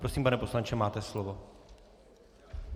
Prosím, pane poslanče, máte slovo.